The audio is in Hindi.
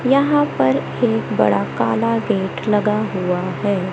यहां पर एक बड़ा काला गेट लगा हुआ हैं।